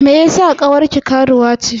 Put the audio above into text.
Me yeasa ƙawarki karuwa ce?